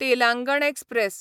Telangana express